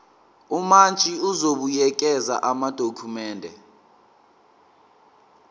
umantshi uzobuyekeza amadokhumende